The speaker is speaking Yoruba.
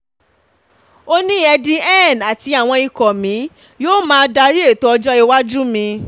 ó ní eddie eddie hearn àti àwọn ikọ mi yóò máa darí ètò ọjọ́ iwájú mi